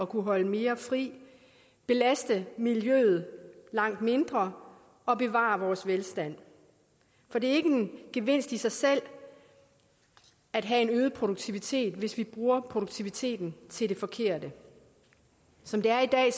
kunne holde mere fri belaste miljøet langt mindre og bevare vores velstand for det er ikke en gevinst i sig selv at have en øget produktivitet hvis vi bruger produktiviteten til det forkerte som det er i dag